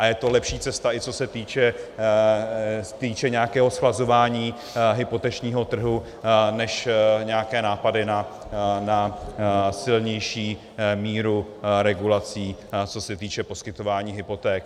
A je to lepší cesta, i co se týče nějakého zchlazování hypotečního trhu, než nějaké nápady na silnější míru regulací, co se týče poskytování hypoték.